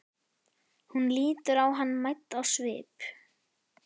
Hún lítur á hann mædd á svip.